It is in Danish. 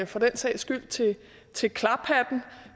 for den sags skyld til til klaphatten